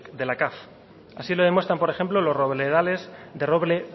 de la cav así lo demuestran por ejemplos los robledales de roble